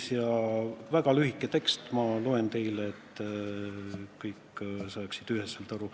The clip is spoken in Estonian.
See on väga lühike tekst, ma loen selle ette, et kõik saaksid üheselt aru.